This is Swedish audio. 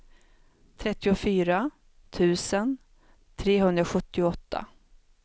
trettiofyra tusen trehundrasjuttioåtta